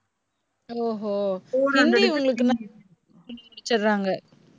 ஓஹோ ஹிந்தி உங்களுக்கு